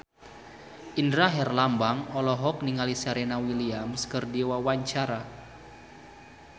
Indra Herlambang olohok ningali Serena Williams keur diwawancara